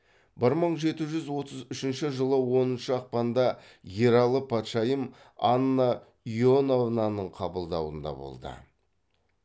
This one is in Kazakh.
бір мың жеті жүз отыз үшінші жылы оныншы ақпанда ералы патшайым анна иоановнаның қабылдауында болды